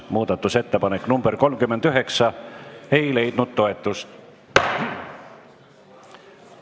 Muudatusettepanek nr 39 ei leidnud toetust.